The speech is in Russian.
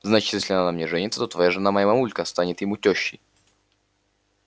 значит если он на мне женится то твоя жена моя мамулька станет ему тёщей